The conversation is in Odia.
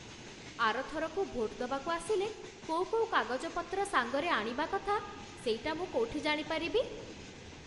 ଆର ଥରକୁ ଭୋଟ୍ ଦବାକୁ ଆସିଲେ କୋଉ କୋଉ କାଗଜପତ୍ର ସାଙ୍ଗରେ ଆଣିବା କଥା ସେଇଟା ମୁଁ କୋଉଠି ଜାଣିପାରିବି?